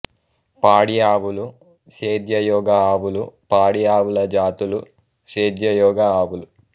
పాడి ఆవులు సేద్యయోగ ఆవులు పాడి ఆవుల జాతులు సేద్యయోగ ఆవులు